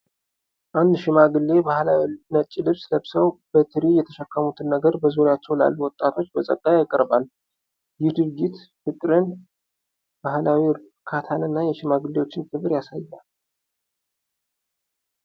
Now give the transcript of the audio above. አንድ ሽማግሌ ባህላዊ ነጭ ልብስ ለብሰው በትሪ የተሸከሙትን ነገር በዙሪያቸው ላሉት ወጣቶች በጸጋ ያቀርባሉ። ይህ ድርጊት ፍቅርን፣ ባህላዊ እርካታን እና የሽማግሌዎችን ክብር ያሳያል።